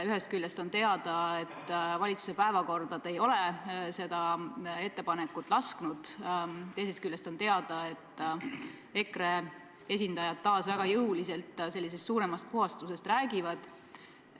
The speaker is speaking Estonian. Ühest küljest on teada, et valitsuse päevakorda te ei ole seda ettepanekut lasknud panna, teisest küljest on teada, et EKRE esindajad ikkagi väga jõuliselt sellisest suuremast puhastusest räägivad.